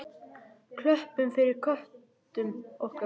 Klöppum fyrir köttum okkar!